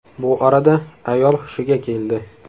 Bu orada ayol hushiga keldi.